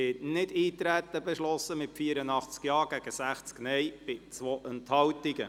Sie haben Nichteintreten beschlossen mit 84 Ja- gegen 60 Nein-Stimmen bei 2 Enthaltungen.